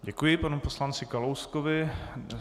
Děkuji panu poslanci Kalouskovi.